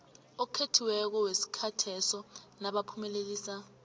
okhethiweko wesikhatheso nabaphumelelisa